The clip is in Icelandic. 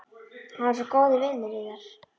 Hann er svo góður vinur yðar.